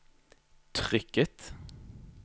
trykket